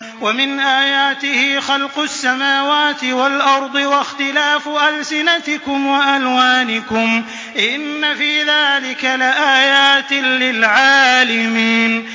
وَمِنْ آيَاتِهِ خَلْقُ السَّمَاوَاتِ وَالْأَرْضِ وَاخْتِلَافُ أَلْسِنَتِكُمْ وَأَلْوَانِكُمْ ۚ إِنَّ فِي ذَٰلِكَ لَآيَاتٍ لِّلْعَالِمِينَ